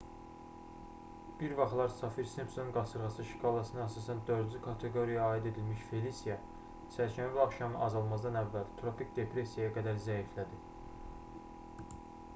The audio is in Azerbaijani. bir vaxtlar saffir-simpson qasırğası şkalasına əsasən 4-cü kateqoriyaya aid edilmiş felisiya çərşənbə axşamı azalmazdan əvvəl tropik depressiyaya qədər zəiflədi